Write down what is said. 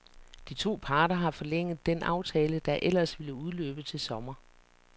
De to parter har forlænget den aftale, der ellers ville udløbe til sommer.